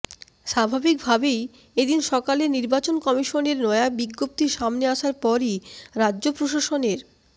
স্বাভাবিক ভাবেই এ দিন সকালে নির্বাচন কমিশনের নয়া বি়জ্ঞপ্তি সামনে আসার পরই রাজ্য প্রশাসনের